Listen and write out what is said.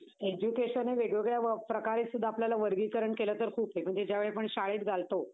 education हे वेगवेगळ्या प्रकारे सुद्धा आपल्याला वर्गीकरण केलं तर खूप आहे. म्हणजे ज्या वेळी आपण शाळेत घालतो